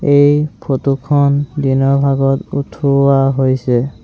এই ফটো খন দিনৰ ভাগত উঠোৱা হৈছে।